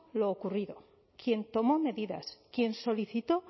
lo ocurrido quien tomó medidas quien solicitó